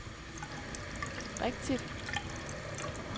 rigtigt